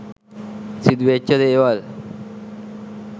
සිදුවෙච්ච දේවල්